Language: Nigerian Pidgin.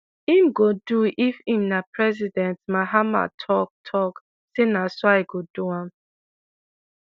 im go do if im na president mahama tok tok say "na so i go do am."